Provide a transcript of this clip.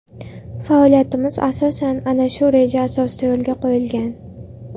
Faoliyatimiz asosan ana shu reja asosida yo‘lga qo‘yilgan.